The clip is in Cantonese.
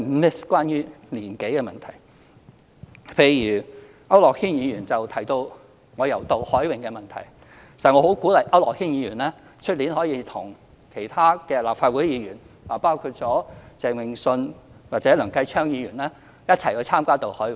譬如區諾軒議員提到我參與渡海泳，實際上我很鼓勵區諾軒議員明年與其他立法會議員，包括鄭泳舜議員或梁繼昌議員，一起參加渡海泳。